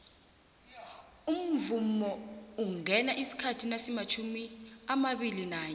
umvhangoungena isikhathi nasimatjhumiamabili nanye